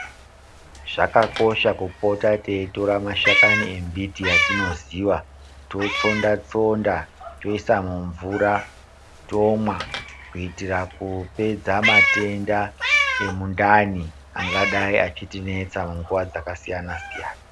Zvakakosha kupota teitora mashakani embiti yatinoziva totsonda tsonda toisa mumvura tomwa kuitira kupedza matenda emundani angadayi achitinetsa panguva dzakasiyana siyana.